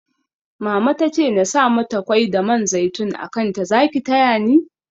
Mama tace nasa mata kwai da man zaitun a kanta Zaki tayani?